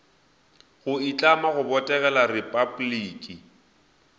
go itlama go botegela repabliki